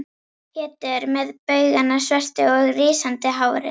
Pétur með baugana svörtu og rísandi hárin.